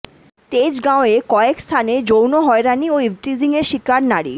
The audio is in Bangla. তেজগাঁওয়ে কয়েক স্থানে যৌন হয়রানি ও ইভটিজিংয়ের শিকার নারী